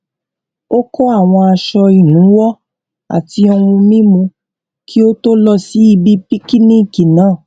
ó kó àwọn aṣọ ìnuwọ àti ohun mímu kí ó tó lọ síbi píkíníkì náà